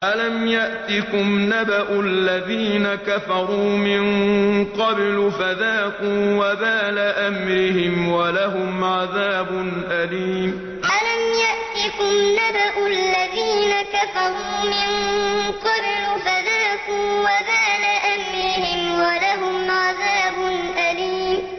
أَلَمْ يَأْتِكُمْ نَبَأُ الَّذِينَ كَفَرُوا مِن قَبْلُ فَذَاقُوا وَبَالَ أَمْرِهِمْ وَلَهُمْ عَذَابٌ أَلِيمٌ أَلَمْ يَأْتِكُمْ نَبَأُ الَّذِينَ كَفَرُوا مِن قَبْلُ فَذَاقُوا وَبَالَ أَمْرِهِمْ وَلَهُمْ عَذَابٌ أَلِيمٌ